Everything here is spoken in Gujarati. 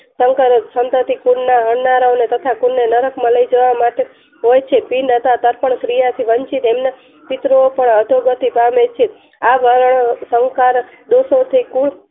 સંકર થી કુલ ના હણનારાઓને તથા નરકમાં લાય જવા માટે હોય છે બિન પ્રાણ ક્રિયા થી વંચિત એમના ચિત્રો પાર અસુરોથી પામે છે આ વલણો શંકા ના